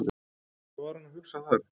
Hvað var hann að hugsa þar?